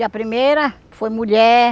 E a primeira foi mulher.